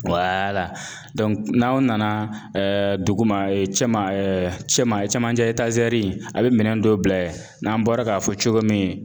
n'aw nana dugu ma cɛ cɛ ma cɛmancɛ a bɛ minɛn dɔ bila n'an bɔra k'a fɔ cogo min